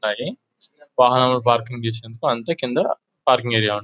వాహనాలను పార్కింగ్ చేసేందుకు అంతే కింద పార్కింగ్ ఏరియా --